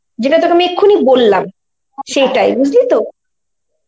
যেটা তোকে আমি এক্ষুনি বললাম, সেটাই বুঝলি তো?